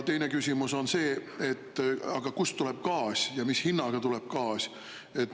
Teine küsimus on see: kust tuleb gaas ja mis hinnaga tuleb gaas?